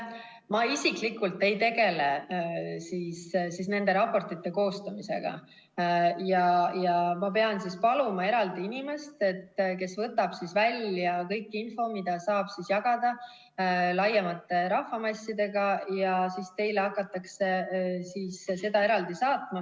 Ma isiklikult ei tegele nende raportite koostamisega ja ma pean paluma eraldi inimest, kes võtab välja kõik info, mida saab jagada laiemalt rahvamassidega, ja siis teile hakatakse seda eraldi saatma.